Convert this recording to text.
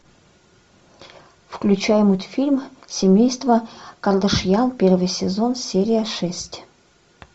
включай мультфильм семейство кардашьян первый сезон серия шесть